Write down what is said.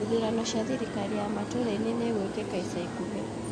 Ithurano cia thirikari ya matura-inĩ nĩ igwĩkĩka ica ikuhĩ